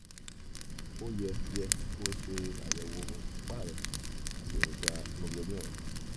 ó yẹ yẹ kó o ṣàyẹ̀wò ìfúnpá rẹ àti èròjà hemoglobin rẹ